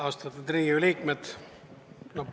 Austatud Riigikogu liikmed!